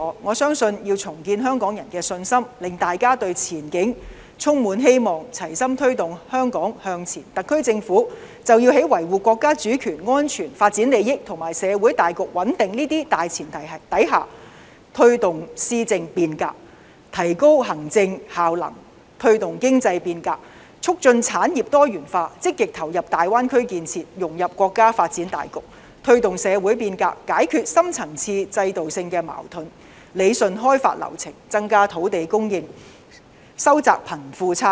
我相信要重建香港人的信心，令大家對前景充滿希望，齊心推動香港向前，特區政府便要在維護國家主權安全發展利益和社會大局穩定這些大前提下，推動施政變革，提高行政效能；推動經濟變革，促進產業多元化；積極投入大灣區建設，融入國家發展大局；推動社會變革，解決深層次制度性的矛盾；理順開發流程，增加土地供應及收窄貧富差距。